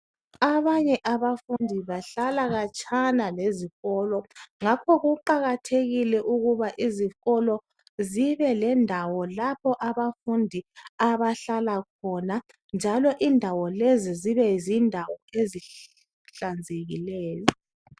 Abanye abafundi bahlala khatshana lezikolo ngakho kuqakathekile ukuba izikolo zibe lendawo lapho abafundi abahlala khona njalo indawo lezi zibe zindawo ezihlanzekileyo.